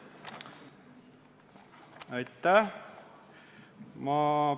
Aitäh!